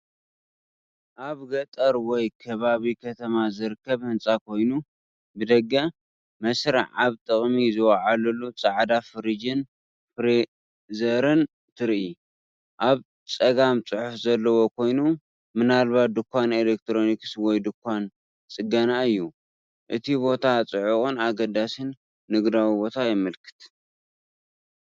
ኣብ ገጠር ወይ ከባቢ ከተማ ዝርከብ ህንጻ ኮይኑ፡ ብደገ፡ መስርዕ ኣብ ጥቕሚ ዝወዓሉ ጻዕዳ ፍሪጅን ፍሪዘርን ትርኢ። ኣብ ጸጋም ጽሑፍ ዘለዎ ኮይኑ፡ ምናልባት ድኳን ኤሌክትሮኒክስ ወይ ድኳን ጽገናእዩ። እቲ ቦታ ጽዑቕን ኣገዳስን ንግዳዊ ቦታ የመልክት፡፡